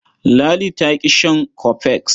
Ladi ta ƙi shan cofex.